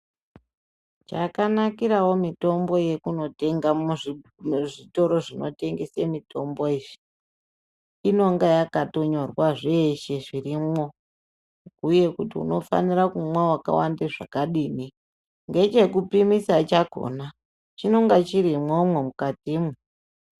Chakanakirawo mitombo yekutenga muzvitoro zvinotengese mitombo izvi , inonga yakatonyorwa zvese zvirimo. Uye kuti unofanire kumwa wakawanda zvakadini. Ngechekupimisa chakona chinonga chirimwomwo mukati mwo.